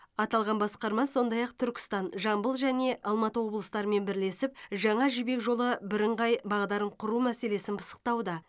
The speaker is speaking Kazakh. аталған басқарма сондай ақ түркістан жамбыл және алматы облыстарымен бірлесіп жаңа жібек жолы бірыңғай бағдарын құру мәселесін пысықтауда